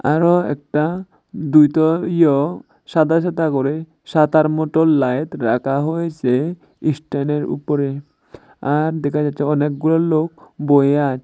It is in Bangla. আরো একটা দুইটো ইয়ো সাদা সাদা করে সাতার মটো লাইত রাখা হয়েছে ইস্ট্যানের উপরে আর দেখা যাচ্ছে অনেকগুলো লোক বয়ে আছে।